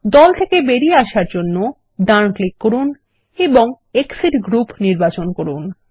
group থেকে বেরিয়ে আসার জন্য ডান ক্লিক করুন এবং এক্সিট গ্রুপ নির্বাচন করুন